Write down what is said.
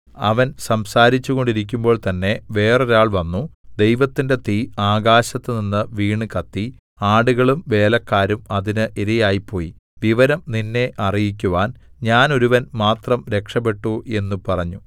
അവൻ സംസാരിച്ചു കൊണ്ടിരിക്കുമ്പോൾതന്നെ വേറൊരാൾ വന്നു ദൈവത്തിന്റെ തീ ആകാശത്തുനിന്ന് വീണുകത്തി ആടുകളും വേലക്കാരും അതിന് ഇരയായിപ്പോയി വിവരം നിന്നെ അറിയിക്കുവാൻ ഞാൻ ഒരുവൻ മാത്രം രക്ഷപ്പെട്ടു എന്ന് പറഞ്ഞു